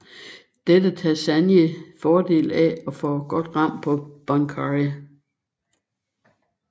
Dette tager Sanji fordel af og får godt ram på Bon Curry